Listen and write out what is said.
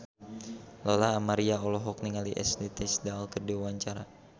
Lola Amaria olohok ningali Ashley Tisdale keur diwawancara